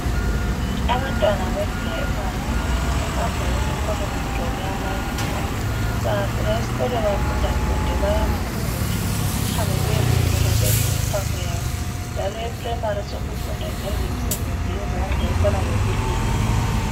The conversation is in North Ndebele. Abantwana be primary bahamba esikolo begqoke amayunifomu. Bengafika esikolo bafunda funde bayaphumula behambe beyephumula bedle imphako yabo njalo e primary sekufundwa lemisebenzi yezandla efana lokulima.